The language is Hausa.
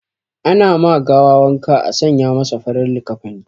Ana ma gawa wanka a sanya masa farar likafani